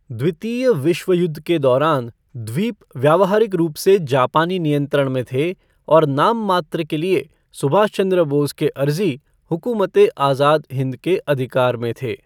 द्वितीय विश्व युद्ध के दौरान, द्वीप व्यावहारिक रूप से जापानी नियंत्रण में थे और नाममात्र के लिए सुभाष चंद्र बोस के अर्ज़ी हुकूमत ए आज़ाद हिंद के अधिकार में थे।